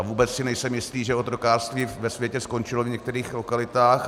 A vůbec si nejsem jistý, že otrokářství ve světě skončilo v některých lokalitách.